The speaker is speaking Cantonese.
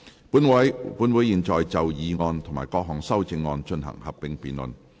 本會現在就議案及各項修正案進行合併辯論。